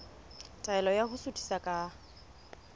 taelo ya ho suthisa ka